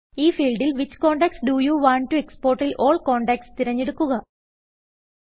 ഈ ഫീൽഡിൽ which contacts do you want to exportൽ ആൽ കോണ്ടാക്ട്സ് തിരഞ്ഞെടുക്കുക